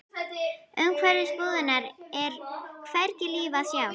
Umhverfis búðirnar er hvergi líf að sjá.